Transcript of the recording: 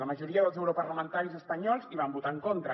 la majoria dels europarlamentaris espanyols hi van votar en contra